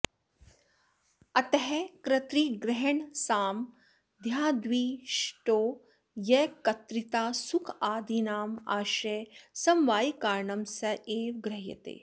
अतः कर्त्तृग्रहणसामथ्र्याद्विशिष्टो यः कत्र्ता सुखादीनामाश्रयः समवायिकारणं स एव गृह्रते